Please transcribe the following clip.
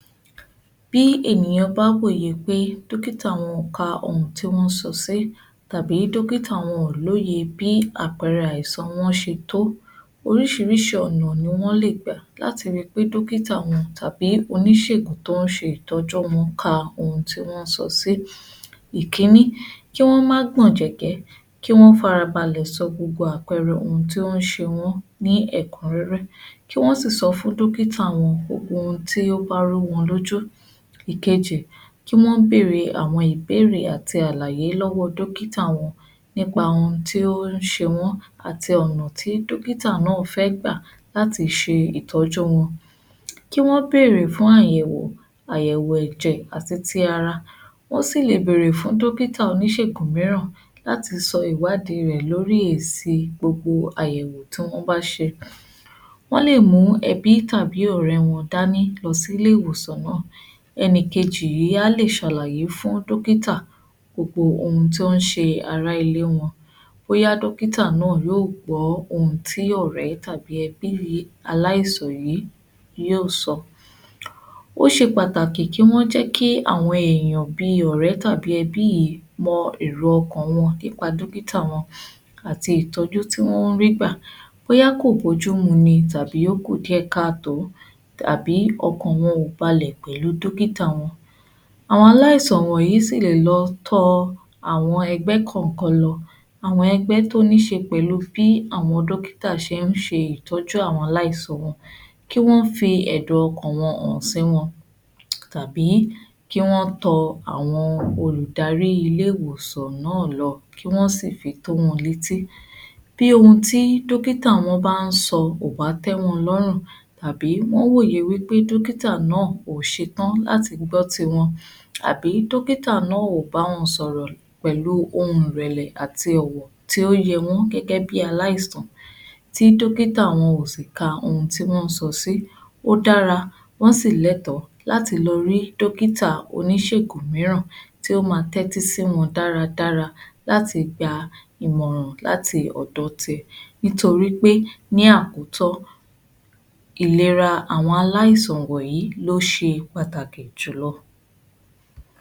Bí ènìyàn bá ń wòye pé dókítà wọn ò ka ohun tí wọ́n ń sọ sí tàbí dókítà wọn ò lóye bí àpẹẹrẹ àìsàn wọ́n ṣe tó, oríṣiríṣi ọ̀nà ni wọ́n lè gbà láti rí i pé dókítà wọn tàbí oníṣégùn tó ń ṣe ìtọ́jú wọn ka ohun tí wọ́n ń sọ sí. Ìkínní, kí wọ́n má gbọ̀njẹ̀kẹ́, kí wọ́n farabalẹ̀ sọ gbogbo àpẹẹrẹ nǹkan tí ó ń ṣe wọn ní ẹ̀kúnrẹ́rẹ́. Kí wọ́n sì sọ fún dókítà wọn gbogbo ohun tí ó bá ń rú wọn lójú. Ìkejì, kí wọ́n bèèrè àwọn ìbéèrè àti àlàyé lọ́wọ́ dókítà wọn nípa ohun tí ó ń ṣe wọn àti ọ̀nà tí dókítà náà fẹ́ gbà láti ṣe ìtọ́jú wọn, kí wọ́n bèèrè fún àyẹ̀wò, àyẹ̀wò ẹ̀jẹ̀ àti ti ara. Wọ́n sì lè bèèrè fún dókítà oníṣègùn mìíràn láti sọ ìwádìí rẹ̀ lórí èsì gbogbo àyẹ̀wò tí wọ́n bá ṣe. Wọ́n lè mú ẹbí tàbí ọ̀rẹ́ wọn dání lọ sí ilé-ìwòsàn náà. Ẹni kejì yìí á lè ṣàlàyé fún dókítà gbogbo ohun tó ń ṣe ará ilé wọn. Bóyá dókítà náà yóò gbọ́ ohun tí ọ̀rẹ́ tàbí ẹbí aláìsàn yìí yóò sọ. Ó ṣe pàtàkì kí wọ́n jẹ́ kí àwọn èèyàn bí ọ̀rẹ́ tàbí ẹbí ìí mọ èrò ọkàn wọn nípa dókítà wọn àti ìtọ́jú tí wọ́n ń rí gbà, bóyá kò bójú mu ni tàbí ó kù díẹ̀ káàtó, tàbí ọkàn wọn ò balẹ̀ pẹ̀lú dókítà wọn. Àwọn aláìsàn yìí sì lè lọ tọ àwọn ẹgbẹ́ kọ̀ọ̀kan lọ. Àwọn ẹgbẹ́ tó ní í ṣe pẹ̀lú bí àwọn dókítà ṣe ń ṣe ìtọ́jú àwọn aláìsàn wọn, kí wọ́n fi ẹ̀dùn-ọkàn wọn hàn sí wọn tàbí kí wọn tọ àwọn olùdarí ilé-ìwòsàn náà lọ, kí wọ́n sì fi tó wọn létí bí ohun tí dókítà wọn bá ń sọ ò bá tẹ́ wọn lọ́rùn tàbí wọ́n wòye pé dókítà náà ò ṣetán láti gbọ́ tiwọn àbí dókítà náà ò bá wọn sọ̀rọ̀ pẹ̀lú ohùn ìrẹ̀lẹ̀ àti ọ̀wọ̀ tí ó yẹ wọ́n gẹ́gẹ́ bí aláìsàn, tí dókítà wọn ò sì ka ohun tí wọ́n ń sọ sí. Ó dára, wọ́n sì lẹ́tọ̀ọ́ láti lọ rí dókítà oníṣègùn mìíràn tí ó máa tẹ́tí sí wọn dáradára láti gba ìmọ̀ràn láti ọ̀dọ̀ tiẹ̀ nítorí pé ní àkótán ìlera àwọn aláìsàn wọ̀nyìí ni ó ṣe pàtàkì jùlọ.